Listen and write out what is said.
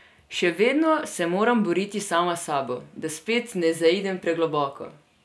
Še vedno se moram boriti sama s sabo, da spet ne zaidem pregloboko.